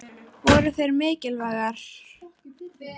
Voru þær mikilvægar?